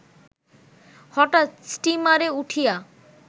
হঠাৎ স্টিমারে উঠিয়া